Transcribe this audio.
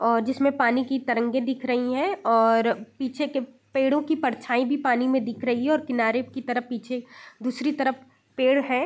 और जिसमें पानी की तरंगे दिख रहीं हैं और पीछे के पेड़ों की परछाई भी पानी में दिख रही है और किनारे की तरफ पीछे दूसरी तरफ पेड़ है।